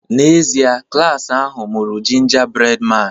N'ezie, klas ahụ mụrụ 'Gingerbread Man'.